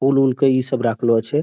फूल वूल के ई सब राखलो छे।